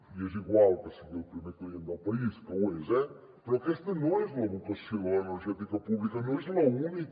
i és igual que sigui el primer client del país que ho és eh però aquesta no és la vocació de l’energètica pública no és l’única